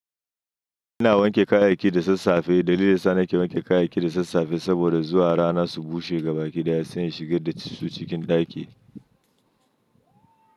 Ina wanke kayayyaki da sassafe. Dalilin da yasa nake wanke kayayyaki da sassafe saboda zuwa rana su bushe gabaki daya sannan ya shigar da su cikin ɗaki.